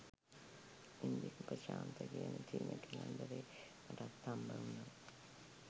ඉන්දික උපශාන්ත කියන චීන කැලැන්ඩරේ මටත් හම්බ උනා